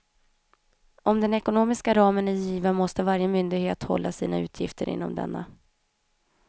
Om den ekonomiska ramen är given måste varje myndighet hålla sina utgifter inom denna.